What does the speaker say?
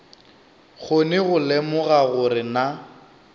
kgone go lemoga gore na